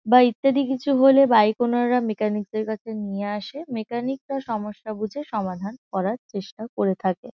বা ইত্যাদি কিছু হলেও বাইক ওনাররা মেকানিক -দের কাছে নিয়ে আসে। মেকানিক -রা সমস্যা বুঝে সমাধান করার চেষ্টা করে থাকে।